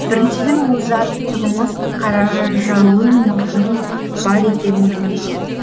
біріншіден ол жарықтығымыз қаражалын нұрдың бар екендігін білмеген